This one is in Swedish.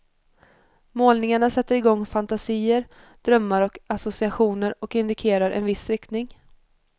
Målningarna sätter igång fantasier, drömmar och associationer och indikerar en viss riktning.